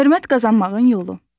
Hörmət qazanmağın yolu.